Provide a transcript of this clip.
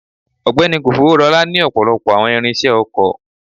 Ọgbẹni kofoworola ni ọpọlọpọ awọn irinṣẹ oko